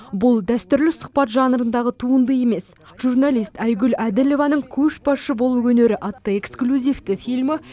бұл дәстүрлі сұхбат жанрындағы туынды емес журналист айгүл әділованың көшбасшы болу өнері атты эксклюзивті фильмі